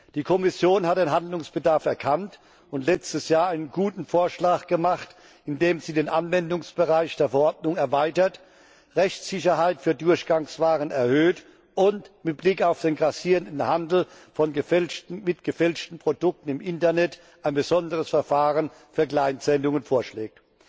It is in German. Die Kommission hat den Handlungsbedarf erkannt und letztes Jahr einen guten Vorschlag gemacht, in dem sie den Anwendungsbereich der Verordnung erweitert, Rechtssicherheit für Durchgangswaren erhöht und mit Blick auf den grassierenden Handel mit gefälschten Produkten im Internet ein besonderes Verfahren für Kleinsendungen vorschlägt.